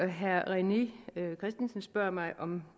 herre rené christensen spørger mig om